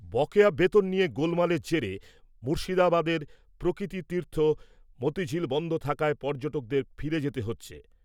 বকেয়া বেতন নিয়ে গোলমালের জেরে মুর্শিদাবাদের প্রকৃতিতীর্থ মতিঝিল বন্ধ থাকায় পর্যটকদের ফিরে যেতে হচ্ছে ।